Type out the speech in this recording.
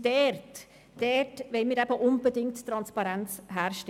Genau dort wollen wir unbedingt Transparenz herstellen.